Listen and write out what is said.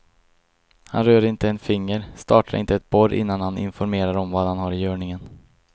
Han rör inte en finger, startar inte ett borr innan han informerar om vad han har i görningen.